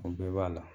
O bɛɛ b'a la